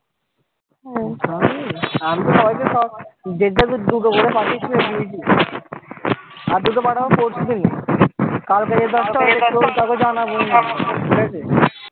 আর দুটো পাঠাবো পরশু দিনে